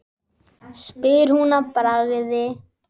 spyr hún að bragði.